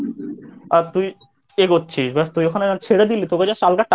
আর তুই এগোচ্ছিস ব্যাস তুই যখন ছেড়ে দিলি তোকে Just হালকা Touch